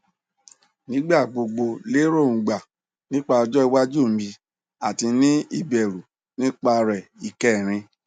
nigba gbogbo lerongba nipa ojo iwaju mi ati ni ibẹru nipa re ikerin